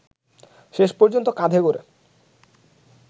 শেষ পর্যন্ত কাঁধে করে